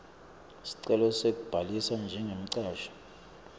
sicelo sekubhalisa njengemcashi